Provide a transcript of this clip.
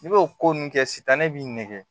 N'i b'o ko nun kɛ sitanɛ b'i nɛgɛn